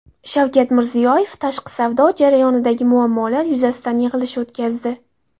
Shavkat Mirziyoyev tashqi savdo jarayonidagi muammolar yuzasidan yig‘ilish o‘tkazdi.